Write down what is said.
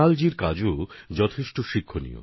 তাঁর কর্মকাণ্ডও আমাদের অনেক কিছু শেখায়